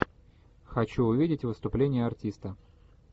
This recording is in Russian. хочу увидеть выступление артиста